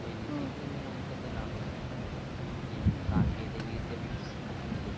അപ്പൊ ഇതിൽ നിന്ന് നമുക്കെന്താണ് ലാഭം കിട്ടുന്നത്? ഈ സാങ്കേന്തിക വിദ്യവികസിപ്പിക്കുന്നതെയ്